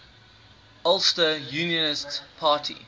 ulster unionist party